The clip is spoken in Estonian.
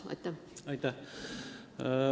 Aitäh!